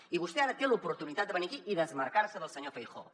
i vostè ara té l’oportunitat de venir aquí i desmarcar se del senyor feijóo